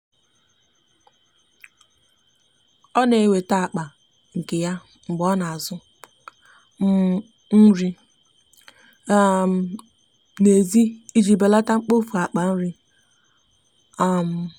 ọ na weta akpa nke ya mgbe ona azụ um nri um na ezi iji beleta mkpofu akpa nri um.